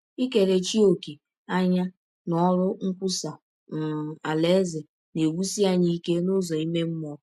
Ikerechi ọ̀kè anya n’ọrụ nkwụsa um Alaeze na - ewụsi anyị ike n’ụzọ ime mmụọ.